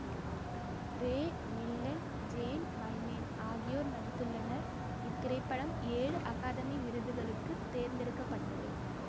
ரே Milland Jane Wyman ஆகியோர் நடித்துள்ளனர் இத்திரைப்படம் ஏழு அகாதமி விருதுகளுக்கு தேர்ந்தெடுக்க பட்டது